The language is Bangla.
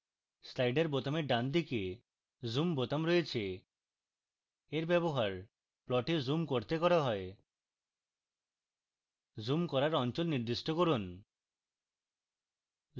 slider বোতামের বাম দিকে zoom বোতাম রয়েছে এর ব্যবহার plot zoom করতে করা হয় zoom করার অঞ্চল নির্দিষ্ট করুন